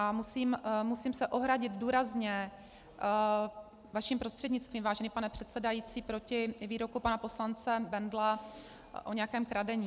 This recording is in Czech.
A musím se ohradit důrazně vaším prostřednictvím, vážený pane předsedající, proti výroku pana poslance Bendla o nějakém kradení.